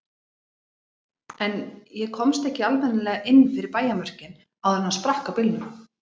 En ég komst ekki almennilega inn fyrir bæjarmörkin áður en sprakk á bílnum.